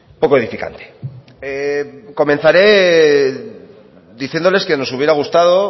poco edificante comenzaré diciéndoles que nos hubiera gustado